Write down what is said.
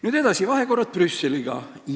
Nüüd edasi, vahekorrad Brüsseliga.